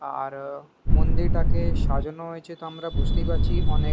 আর মন্দির টাকে সাজানো হয়েছে তো আমরা বুজতেই পারছি অনেক--